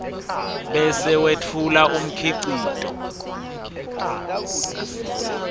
bese wetfula umkhicito